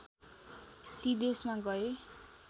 ती देशमा गए